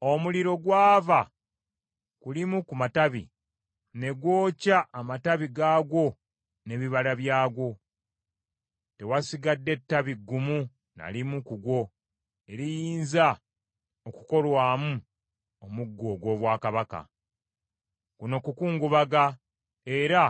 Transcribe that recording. Omuliro gwava ku limu ku matabi, ne gwokya amatabi gaagwo n’ebibala byagwo. Tewasigadde ttabi ggumu na limu ku gwo eriyinza okukolwamu omuggo ogw’obwakabaka.’ Kuno kukungubaga, era